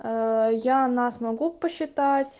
я нас могу посчитать